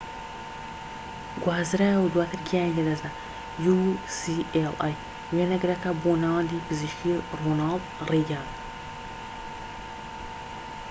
وێنەگرەکە بۆ ناوەندی پزیشکی ڕۆناڵد ڕیگان ucla گوازرایەوە و دواتر گیانی لەدەستدا‎